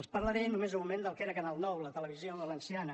els parlaré només un moment del que era canal nou la televisió valenciana